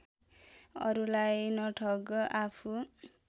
अरूलाई नठग आफू